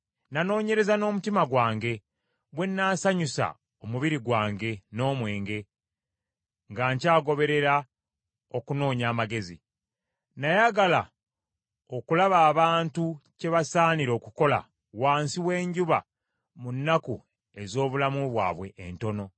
Nanoonyereza n’omutima gwange, bwe nnaasanyusa omubiri gwange n’omwenge, nga nkyagoberera okunoonya amagezi. Nayagala okulaba abantu kyebasaanira okukola wansi w’enjuba mu nnaku ez’obulamu bwabwe entono.